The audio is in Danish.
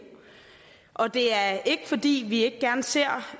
og det er ikke fordi vi ikke gerne ser